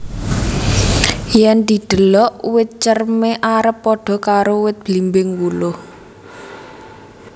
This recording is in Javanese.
Yen didelok wit cerme arep padha karo wit blimbing wuluh